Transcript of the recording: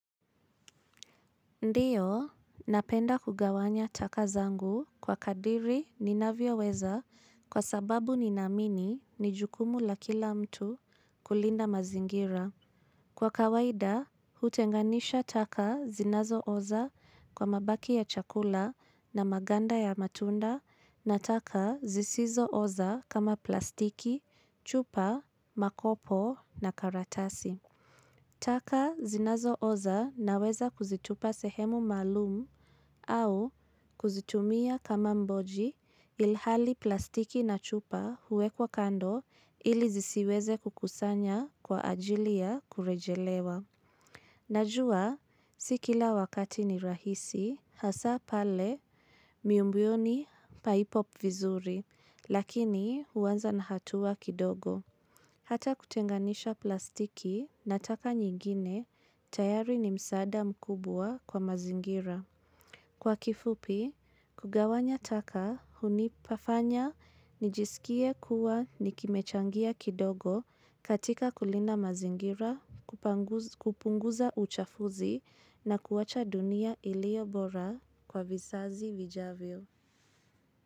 Ndiyo, napenda kugawanya taka zangu kwa kadiri ninavyoweza kwa sababu ninaamini ni jukumu la kila mtu kulinda mazingira. Kwa kawaida, hutenganisha taka zinazooza kwa mabaki ya chakula na maganda ya matunda na taka zisizo oza kama plastiki, chupa, makopo na karatasi. Taka zinazooza naweza kuzitupa sehemu maalumu au kuzitumia kama mboji ilhali plastiki na chupa huwekwa kando ili zisiweze kukusanya kwa ajili ya kurejelewa. Najua si kila wakati ni rahisi hasa pale miumbioni paipo vizuri lakini huanza na hatua kidogo. Hata kutenganisha plastiki na taka nyingine, tayari ni msaada mkubwa kwa mazingira. Kwa kifupi, kugawanya taka, hunipafanya, nijisikie kuwa nikimechangia kidogo katika kulinda mazingira, kupunguza uchafuzi na kuacha dunia iliyo bora kwa visazi vijavyo.